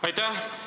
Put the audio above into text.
Aitäh!